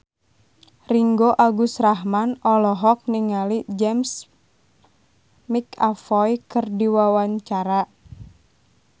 Ringgo Agus Rahman olohok ningali James McAvoy keur diwawancara